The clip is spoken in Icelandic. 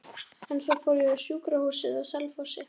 En svo fór ég á sjúkrahúsið á Selfossi.